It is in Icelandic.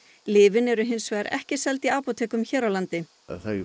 lyfin eru hins vegar ekki seld í apótekum hér á landi þau